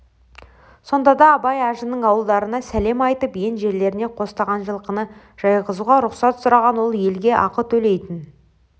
сонда да абай ажының ауылдарына сәлем айтып ен жерлеріне қостаған жылқыны жайғызуға рұқсат сұраған ол елге ақы төлейтін